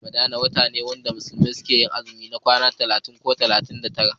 watan ramadana wata ne da musulmai ke yin azumi ma kwana talatin ko ashirin da tara